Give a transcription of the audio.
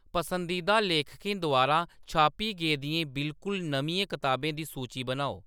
पसंदीदा लेखकें द्वारा छापी गेदियें बिलकुल नमियें कताबें दी सूची बनाओ